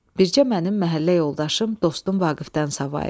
Bircə mənim məhəllə yoldaşım, dostum Vaqifdən savayı.